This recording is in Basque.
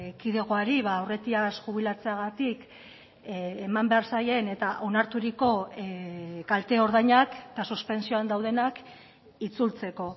kidegoari aurretiaz jubilatzeagatik eman behar zaien eta onarturiko kalteordainak eta suspentsioan daudenak itzultzeko